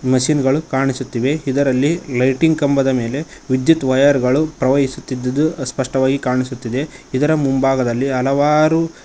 machine ಗಳು ಕಾಣಿಸುತ್ತಿವೆ ಇದರಲ್ಲಿ ಲೈಟಿಂಗ್ ಕಂಬದ ಮೇಲೆ ವಿದ್ಯುತ್ ವೈರ್ ಗಳು ಪ್ರವಹಿಸುತ್ತಿದ್ದುದು ಅಸ್ಪಷ್ಟವಾಗಿ ಕಾಣಿಸುತ್ತಿದೆ ಇದರ ಮುಂಭಾಗದಲ್ಲಿ ಹಲವಾರು--